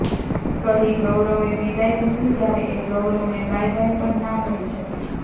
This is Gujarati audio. કહી ગૌરવે વિદાય લીધી ત્યારે એ ગૌરવને બાય બાય પણ ના કહી શકી